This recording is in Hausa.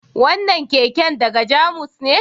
Wannan keken daga Jamus ne?